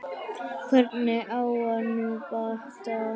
Hvernig á að ná bata?